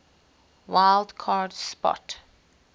wild card spot